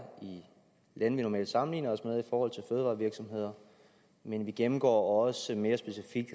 i de lande vi normalt sammenligner os med i forhold til fødevarevirksomheder men vi gennemgår også mere specifikt